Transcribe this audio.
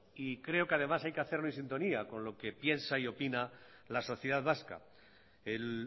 y creo que además hay que hacerlo en sintonía con lo que piensa y opina la sociedad vasca el